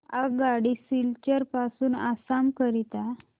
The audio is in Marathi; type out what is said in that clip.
आगगाडी सिलचर पासून आसाम करीता